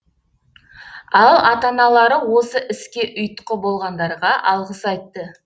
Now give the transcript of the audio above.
ал ата аналары осы іске ұйытқы болғандарға алғыс айтты